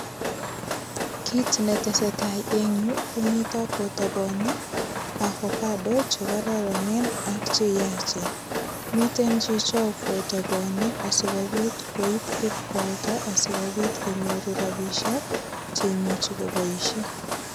Kit neteseta eng yu komitok kotabani avocado che kororonen ak che yachen. Miten chicho kotoboni asigopit koip ipkwalda, asikopit konyoru rapisiek che imuchi koboisien.